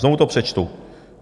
Znovu to přečtu.